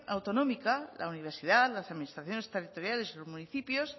autonómica la universidad las administraciones territoriales los municipios